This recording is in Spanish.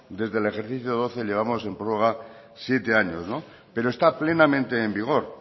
desde el ejercicio doce llevamos en prorroga siete años pero está plenamente en vigor